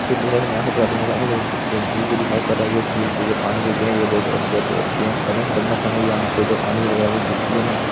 जो झील जो दिखाई पड़ रही है झील से पानी जो बहुत ज्यादा स्वच्छ होती है और मैं आपको बताना चाहूंगा यहाँ पे जो पानी वेगरह जो गिरती है न--